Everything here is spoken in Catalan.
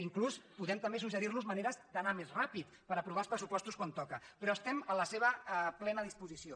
inclús podem també suggerir los maneres d’anar més ràpids per aprovar els pressupostos quan toca però estem a la seva plena disposició